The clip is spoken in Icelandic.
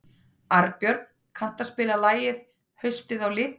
Arnbjörn, kanntu að spila lagið „Haustið á liti“?